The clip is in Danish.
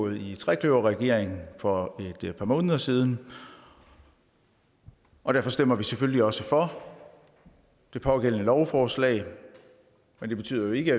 i trekløverregeringen for få måneder siden og derfor stemmer vi selvfølgelig også for det pågældende lovforslag men det betyder ikke